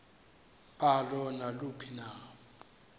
balo naluphi na